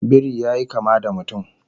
Biri yayi kama da mutum